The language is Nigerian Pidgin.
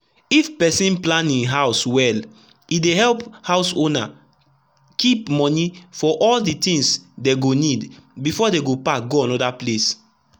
if person plan him house welle dey help house owners keep money for all the things dey go needbefore dey go pack go anoda place.